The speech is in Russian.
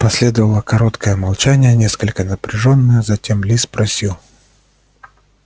последовало короткое молчание несколько напряжённое затем ли спросил